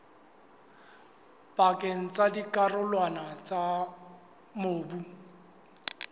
pakeng tsa dikarolwana tsa mobu